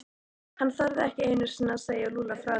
Hann þorði ekki einu sinni að segja Lúlla frá því.